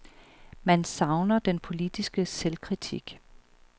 Man savner den politiske selvkritik.